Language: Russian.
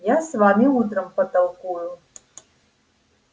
а с вами я утром потолкую